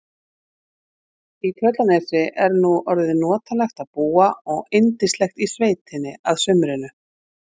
Í Tröllanesi er nú orðið notalegt að búa og yndislegt í sveitinni að sumrinu.